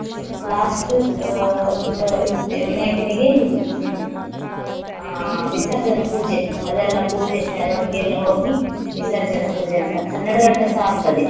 Last ಅಹ್ ಅಹ್ ವಿನಾಯಕನಿಗೆ ಇದು ಹ್ಮ್ ಹಾ ವಿಸರ್ಜನ ಪೂಜೆ ಅದೆಲ್ಲ ಪೂಜೆ ಮೆರವಣಿಗೆಯೆಲ್ಲ ಹೋಗಿ ವಿಸರ್ಜನೆ ಪೂಜೆ ಅಂತ ಹತ್ ಹನ್ನೆರಡು ಗಂಟೆಸ ಆಗ್ತದೆ.